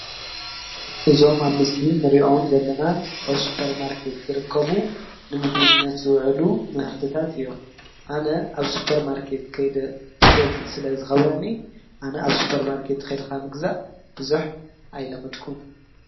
እዞም ኣብ ምስሊ ንርዮም ዘለና ኣብ ሱጰር ማርከት ዝርከቡ ንምግቢድነት ውዕሉ ምህርትታት እዮም። ኣነ ኣብ ሱጰር ማርከት ከይደ ፍገዝ ስለ ዝኸብረኒ ኣነ ኣብ ሱጰር ማርከት ኼድካ ምግዛእ ብዙኅ ኣይለመድኩን።